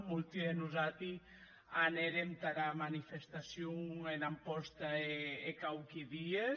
molti de nosati anèrem tara manifestacion en amposta hè quauqui dies